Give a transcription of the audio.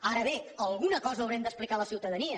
ara bé alguna cosa haurem d’explicar a la ciutadania